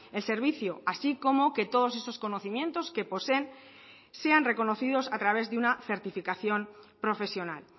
el servicio así como que todos esos conocimientos que poseen sean reconocidos a través de una certificación profesional